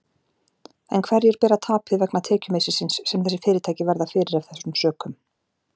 En hverjir bera tapið vegna tekjumissisins sem þessi fyrirtæki verða fyrir af þessum sökum?